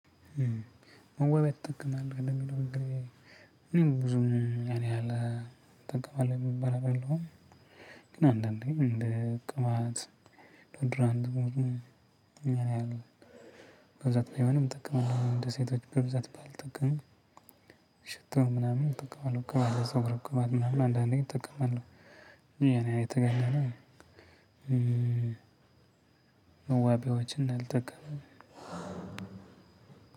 ውበድ ትጠቀማለህ ለሚለው እኔም ብዙም ያን ያህል እጠቀማለሁ የምባል አደለሁም ግን አንዳንዴ እንደ ቅባት፥ ዲኦድራንት ሙድ ነው። ያን ያህል በብዛት ባይሆንም እጠቀማለሁ እንደ ሴቶች በብዛት ባልጠቅምም ሽቶ ምናምን እጠቀማለሁ። ቅባት የፀጉር ቅባት ምናምን አንዳንዴ እጠቀማለሁ። ግን ያን ያህል የተጋነነ መዋቢያዎችን አልጠቀምም።